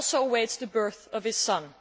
He also awaits the birth of his son.